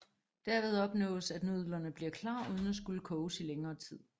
Derved opnås at nudlerne bliver klar uden at skulle koges i længere tid